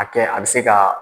A kɛ a bɛ se ka